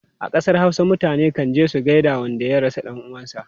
A kasar Hausa, mutane kan je su gaida wanda ya rasa dan uwansu.